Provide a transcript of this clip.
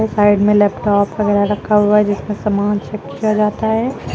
Side में laptop वगैरा रखा हुआ है जिसमें समान चेक किया जाता है।